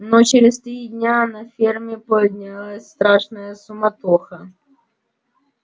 но через три дня на ферме поднялась страшная суматоха